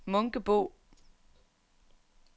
Munkebo